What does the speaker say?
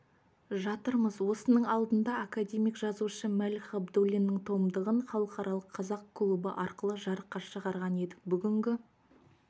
жатырмыз осының алдында академик-жазушы мәлік ғабдуллиннің томдығын халықаралық қазақ клубы арқылы жарыққа шығарған едік бүгінгі